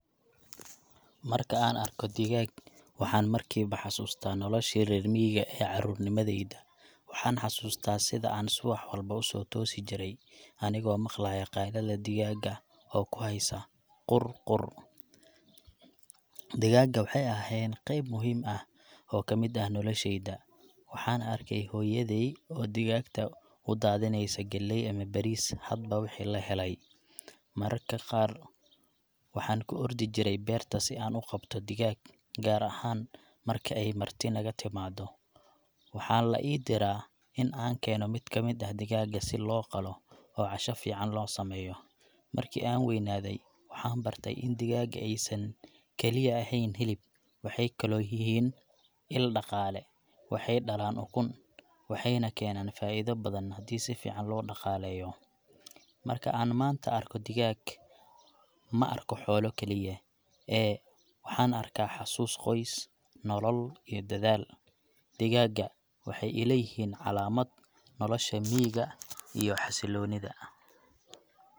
Marka aan arko digaag, waxaan markiiba xasuustaa noloshii reer miyiga ee carruurnimadayda. Waxaan xasuustaa sida aan subax walba u toosi jiray anigoo maqlaaya qaylada digaagga oo ku heesaya qur-qur. Digaagga waxay ahaayeen qayb muhiim ah oo ka mid ah noloshayada. Waxaan arkay hooyaday oo digaagta u daadinaysa galley ama bariis hadba wixii la helay. Mararka qaar, waxaan ku ordi jiray beerta si aan u qabto digaag, gaar ahaan marka ay marti naga timaado. Waxaa la ii diraa in aan keeno mid ka mid ah digaagga si loo qalo oo casho fiican loo sameeyo. Markii aan waynaaday, waxaan bartay in digaagga aysan kaliya ahayn hilib; waxay kaloo yihiin il dhaqaale. Waxay dhalaan ukun, waxayna keenaan faa’iido badan haddii si fiican loo dhaqaleeyo. Marka aan maanta arko digaag, ma arko xoolo keliya, ee waxaan arkaa xasuus, qoys nolol, iyo dadaal. Digaagga waxay ila yihiin calaamad nolosha miyiga iyo xasilloonida.